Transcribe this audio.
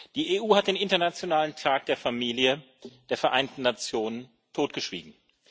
Die EU hat den Internationalen Tag der Familie der Vereinten Nationen totgeschwiegen.